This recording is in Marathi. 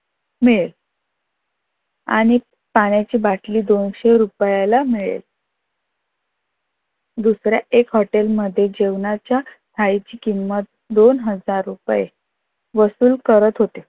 मिळेल आणि पाण्याची बाटली दोनशे रुपयेला मिळेल. दुसरा एक हॉटेल मध्ये जेवणाच्या थाळीची किंमत दोन हजार रुपय वसूल करत होते.